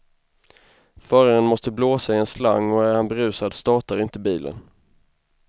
Föraren måste blåsa i en slang och är han berusad startar inte bilen.